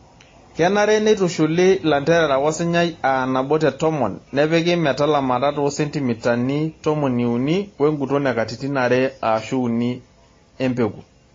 Kenare neitushuli lanterera wosinyai aa nabo te tomon nepiki metalamata too sentimitai tomoni uni wenguton e katitin are aashu uni emepeku.